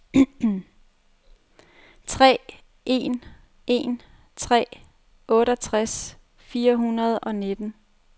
tre en en tre otteogtres fire hundrede og nitten